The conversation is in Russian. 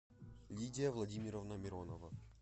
лидия владимировна миронова